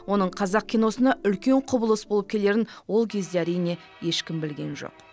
оның қазақ киносына үлкен құбылыс болып келерін ол кезде әрине ешкім білген жоқ